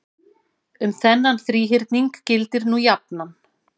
Um þennan þríhyrning gildir nú jafnan